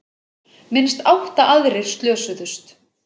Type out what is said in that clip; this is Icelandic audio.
Minnst átta aðrir slösuðust